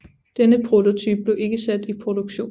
Denne prototype blev ikke sat i produktion